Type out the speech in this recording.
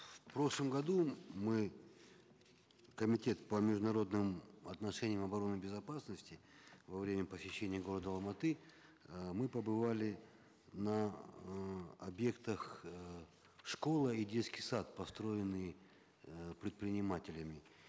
в прошлом году мы комитет по международным отношениям обороне и безопасности во время посещения города алматы э мы побывали на э объектах э школа и детский сад построенные э предпринимателями